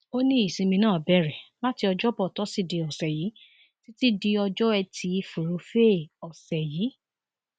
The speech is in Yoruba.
ó ní ìsinmi náà bẹrẹ láti ọjọbọ toside ọsẹ yìí títí di ọjọ etí furuufee ọsẹ yìí